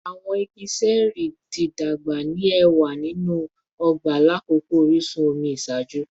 Awọn igi ṣẹẹri ti dagba ni ẹwa ninu ọgba lakoko orisun omi iṣaaju